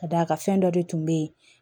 Ka d'a kan fɛn dɔ de tun bɛ yen